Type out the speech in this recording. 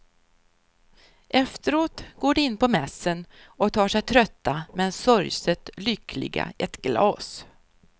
Efteråt går de in på mässen och tar sig trötta men sorgset lyckliga ett glas.